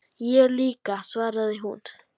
Ég líka, svaraði hún.